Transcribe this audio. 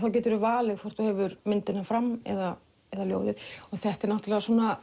þá geturðu valið hvort þú hefur myndina fram eða ljóðið þetta er